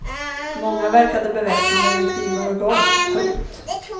Många verkade beväpnade med knivar och gas. punkt